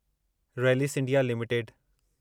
Rallis India limited